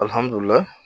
Alihamudulila